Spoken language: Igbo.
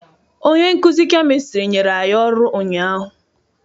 Onye nkuzi kemistri nyere anyị ọrụ ụnyaahụ.